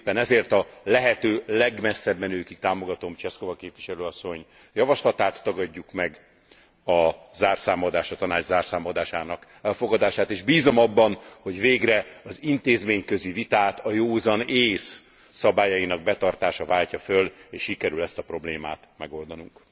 Éppen ezért a lehető legmesszebbmenőkig támogatom Češková képviselőasszony javaslatát, tagadjuk meg a zárszámadás, a Tanács zárszámadásának elfogadását és bízom abban, hogy végre az intézményközi vitát a józan ész szabályainak betartása váltja föl, és sikerül ezt a problémát megoldanunk.